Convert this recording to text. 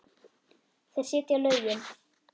Þeir setja lögin.